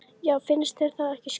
Já, finnst þér það ekki skrýtið?